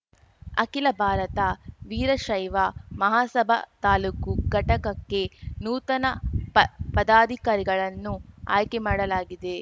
ಅಖಿಲ ಭಾರತ ವೀರಶೈವ ಮಹಾಸಭಾ ತಾಲೂಕು ಘಟಕಕ್ಕೆ ನೂತನ ಪ ಪದಾಧಿಕಾರಿಗಳನ್ನು ಆಯ್ಕೆ ಮಾಡಲಾಗಿದೆ